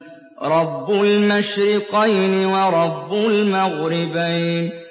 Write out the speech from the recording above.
رَبُّ الْمَشْرِقَيْنِ وَرَبُّ الْمَغْرِبَيْنِ